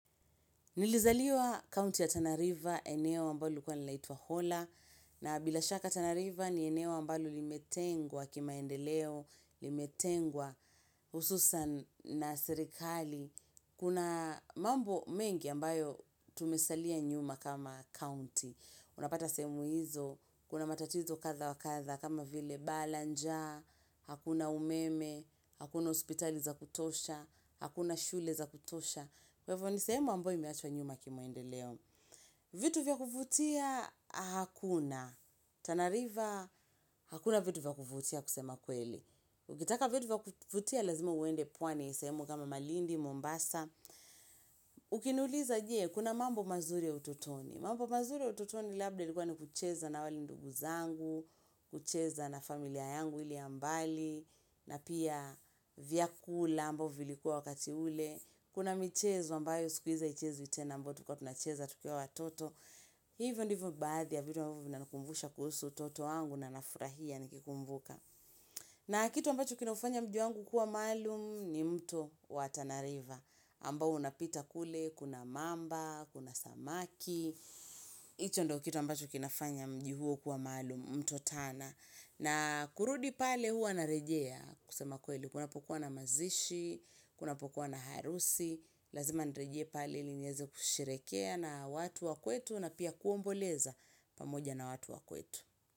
Nilizaliwa county ya Tana river. Eneo ambalo lilikuwa linaitwa Hola, na bila shaka Tana river ni eneo ambalo limetengwa kimaendeleo, limetengwa hususan na serikali. Kuna mambo mengi ambayo tumesalia nyuma kama county. Unapata semu hizo, kuna matatizo kadhaa wa kadhaa kama vile baa la njaa, hakuna umeme, hakuna hospitali za kutosha, hakuna shule za kutosha. Kwa hivo ni sehemu ambayo imeachwa nyuma kimaendeleo. Vitu vya kuvutia hakuna. Tana river hakuna vitu vya kuvutia kusema kweli. Ukitaka vitu vya kuvutia lazima uende pwani sehemu kama Malindi, Mombasa. Ukiniuliza je, kuna mambo mazuri ya ututoni? Mambo mazuri ya ututoni labda ilikuwa ni kucheza na wale ndugu zangu kucheza na familia yangu ile ya mbali na pia vyakula ambavyo vilikuwa wakati ule. Kuna michezo ambayo siku hizi haichezwi tena ambayo tulikuwa tunacheza tukiwa watoto Hivo ndivo baadhi ya vitu ambavyo vinanikumbusha kuhusu utoto wangu na nafurahia nikikumbuka na kitu ambacho kinaufanya mji wangu kuwa maalum ni mto wa Tana river ambao unapita kule, kuna mamba, kuna samaki hicho ndicho kitu ambacho kinafanya mji huo kuwa maalum mto tana na kurudi pale huwa narejea kusema kweli kunapokuwa na mazishi, kunapokuwa na harusi lazima nirejee pale ili niweze kusherekea na watu wa kwetu na pia kuomboleza pamoja na watu wa kwetu.